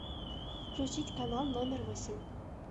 включить канал номер восемь